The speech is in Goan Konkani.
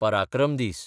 पराक्रम दीस